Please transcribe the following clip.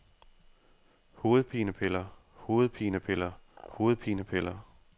hovedpinepiller hovedpinepiller hovedpinepiller